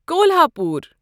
Kolhapur